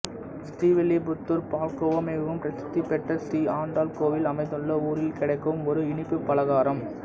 ஸ்ரீவில்லிபுத்தூர் பால்கோவா மிகவும் பிரசித்தி பெற்ற ஸ்ரீ ஆண்டாள் கோவில் அமைந்துள்ள ஊரில் கிடைக்கும் ஒரு இனிப்புப் பலகாரம்